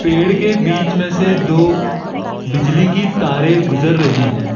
पेड़ के बीच में से दो बिजली की तारे गुजर रही है।